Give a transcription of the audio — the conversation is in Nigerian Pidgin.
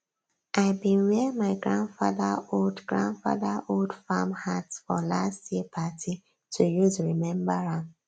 i bin wear my grandfather old grandfather old farm hat for last year party to use remember am